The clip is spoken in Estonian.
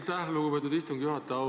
Aitäh, lugupeetud istungi juhataja!